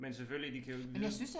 Men selvfølgelig de kan jo ikke vide